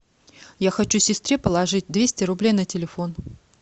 я хочу сестре положить двести рублей на телефон